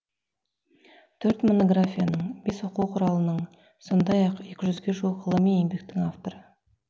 төрт монографияның бес оқу құралының сондай ақ екі жүзге жуық ғылыми еңбектің авторы